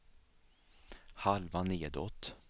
halva nedåt